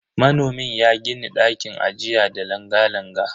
Manomin ya gini ɗakin ajiya da langa-langa.